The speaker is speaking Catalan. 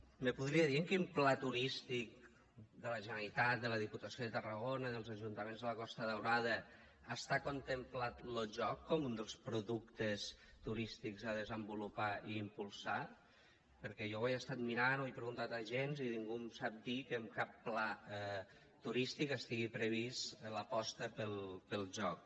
me podria dir en quin pla turístic de la generalitat de la diputació de tarragona dels ajuntaments de la costa daurada està contemplat lo joc com un dels productes turístics a desenvolupar i impulsar perquè jo ho he estat mirant ho he preguntat a agents i ningú em sap dir que en cap pla turístic estigui prevista l’aposta pel joc